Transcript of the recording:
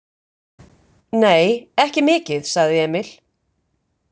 Nei, ekki mikið, sagði Emil.